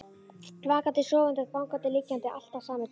Vakandi, sofandi, gangandi, liggjandi, alltaf sami draumurinn.